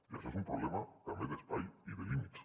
i això és un problema també d’espai i de límits